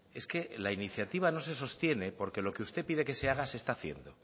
es que la iniciativa no se sostiene porque lo que usted pide que se haga se está haciendo